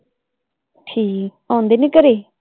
ਠੀਕ ਹੈ, ਆਉਂਦੇ ਨੇ ਘਰੇ?